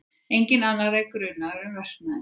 Enginn annar er grunaður um verknaðinn